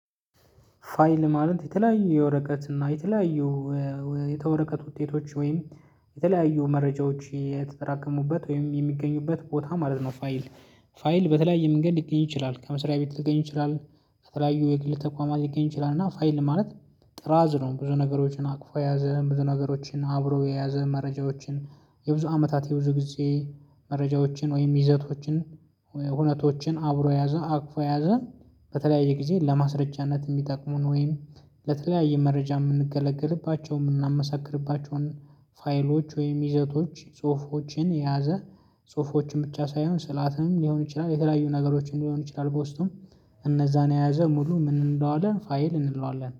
ፋይል ማለት የተለያዩ የወረቀት እና የተለያዩ የወረቀት ውጤቶች ወይም የተለያዩ መረጃዎች የተጠራቀሙበት ወይም የሚገኙበት ቦታ ማለት ነው። ፋይል ፋይል በተለያየ መንገድ ሊገኝ ይችላል። ከመስሪያ ቤት ሊገኝ ይችላል ከተለያዩ የግል ተቋማት ሊገኝ ይችላል። እና ፋይል ማለት ጥራዝ ነው። ብዙ ነገሮችን አቅፎ የያዘ ብዙ ነገሮችን አብሮ የያዘ መረጃዎችን የብዙ አመታት የብዙ ጊዜ መረጃዎችን ወይም ይዘቶችን እውነቶችን አብሮ ያዘ አቅፎ የያዘን። በተለያየ ጊዜ ለማስረጃነት ሚጠቅሙን ወይም ለተለያየ መረጃ ምንገለገልባቸው ምናመሳክርባቸውን ፋይሎች ወይም ይዘቶች ጽሁፎችን የያዘ። ጽሁፎችን ብቻ ሳይሆን ስዕላትም ሊሆን ይችላል የተለያዩ ነገሮችን ሊሆን ይችላል። በውስጡ እነዛን የያዘ ሙሉ ምን እንለዋለን? ፋይል እንለዋለን